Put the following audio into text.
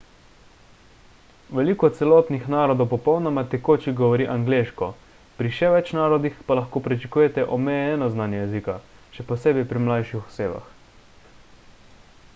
veliko celotnih narodov popolnoma tekoče govori angleško pri še več narodih pa lahko pričakujete omejeno znanje jezika – še posebej pri mlajših osebah